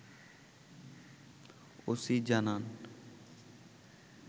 OC জানান